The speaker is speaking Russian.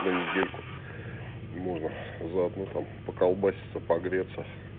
на недельку можно заодно там поколбасимся погреться